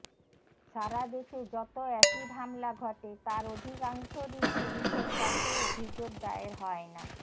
সারা দেশে যত অ্যাসিড হামলা ঘটে তার অধিকাংশরই পুলিশের কাছে অভিযোগ দায়ের হয় না